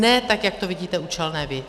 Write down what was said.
Ne tak, jak to vidíte účelné vy.